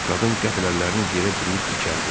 Qadın qəfil əllərini yerə dirəyib dikəldi.